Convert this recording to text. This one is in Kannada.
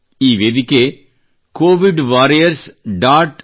ಈ ವೇದಿಕೆ covidwarriors